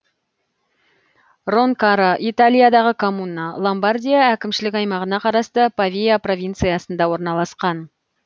ронкаро италиядағы коммуна ломбардия әкімшілік аймағына қарасты павия провинциясында орналасқан